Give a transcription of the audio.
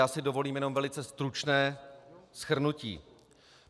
Já si dovolím jenom velice stručné shrnutí.